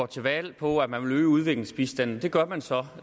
til valg på at man ville øge udviklingsbistanden det gør man så